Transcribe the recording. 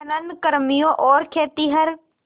खनन कर्मियों और खेतिहर